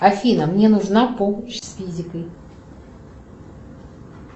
афина мне нужна помощь с физикой